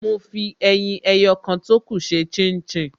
Mo fi ẹyin ẹyọ kan tókù ṣe chin chin